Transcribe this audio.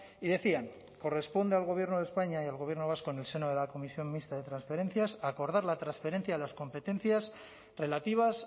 y decían corresponde al gobierno de españa y al gobierno vasco en el seno de la comisión mixta de transferencias acordar la transferencia de las competencias relativas